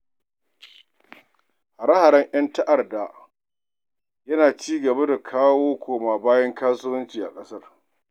Hara-haren ƴan ta'adda yana ci gaba da kawo koma bayan kasuwanci a ƙasar.